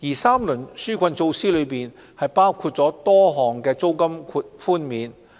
三輪紓困措施包括多項租金寬免。